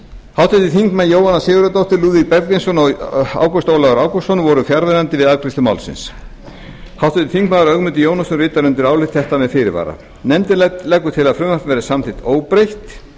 háttvirtir þingmenn jóhanna sigurðardóttir lúðvík bergvinsson og ágúst ólafur ágústsson voru fjarverandi við afgreiðslu málsins háttvirtur þingmaður ögmundur jónasson ritar undir álit þetta með fyrirvara nefndin leggur til að frumvarpið verði samþykkt óbreytt